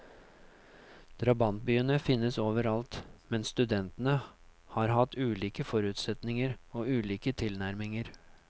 Drabantbyene finnes overalt, men studentene har hatt ulike forutsetninger og ulike tilnærminger.